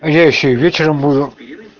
а я ещё и вечером буду